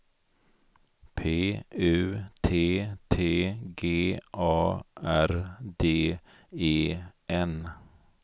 P U T T G A R D E N